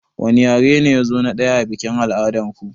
Wani yare ne yazo na ɗaya a biƙin al'adar ku